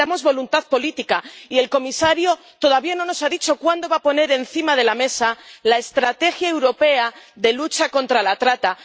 Necesitamos voluntad política, y el comisario todavía no nos ha dicho cuándo va a poner encima de la mesa la Estrategia europea de lucha contra la trata.